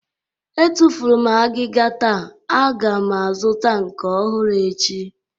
Etufuru m agịga taa, a ga m azụta nke ọhụrụ echi